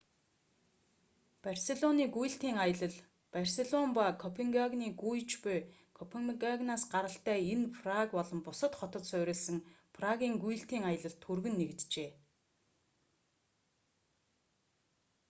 барселоны гүйлтийн аялал барселон ба копенгагены гүйж буй копенгагенаас гаралтай энэ нь праг болон бусад хотод суурилсан прагийн гүйлтийн аялалд түргэн нэгджээ